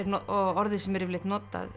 orðið sem er yfirleitt notað